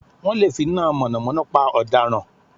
Wọ́n lè finá mọ̀nàmọ́ná pa ọ̀daràn